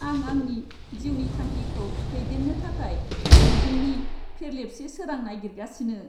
आं आंनि जिउनि थांखिखौ दैदेन्नो थाखाय मिजिंनि फेरलेबसे सोरां नागिरगासिनो।